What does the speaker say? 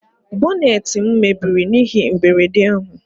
Boneetị m mebiri n'ihe mberede ahụ